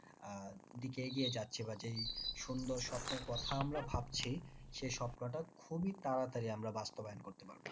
আহ দিকে এগিয়ে যাচ্ছি বা যেই সুন্দর স্বপ্নের কথা আমরা ভাবছি সেই স্বপ্নটা খুবই তাড়াতাড়ি আমরা বাস্তবায়ন করতে পারবো।